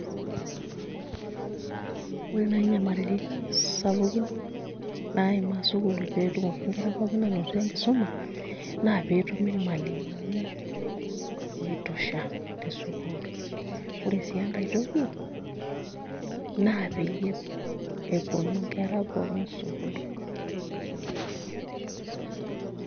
Ore naai nyamalaritin sapukin naimaa sukuul pee etumoki nkera aanoto enkisuma naa pee etumi irmalimuni oitosha te sukuul ore sii enkae toki naa peyie eponu nkera pookin sukuul.